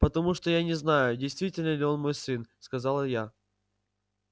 потому что я не знаю действительно ли он мой сын сказал я